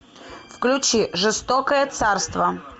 включи жестокое царство